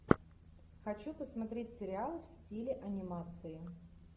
хочу посмотреть сериал в стиле анимации